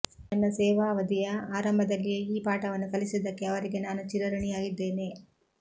ನನ್ನ ಸೇವಾವಧಿಯ ಆರಂಭದಲ್ಲಿಯೇ ಈ ಪಾಠವನ್ನು ಕಲಿಸಿದ್ದಕ್ಕೆ ಅವರಿಗೆ ನಾನು ಚಿರ ಋಣಿಯಾಗಿದ್ದೇನೆ